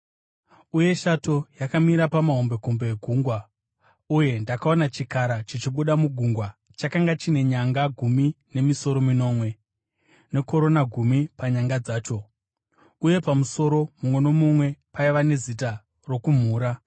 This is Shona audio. Uye shato yakamira pamahombekombe egungwa. Uye ndakaona chikara chichibuda mugungwa. Chakanga chine nyanga gumi nemisoro minomwe, nekorona gumi panyanga dzacho, uye pamusoro mumwe nomumwe paiva nezita rokumhura.